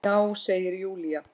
Já, segir Júlía.